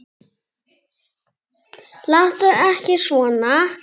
Láttu ekki svona.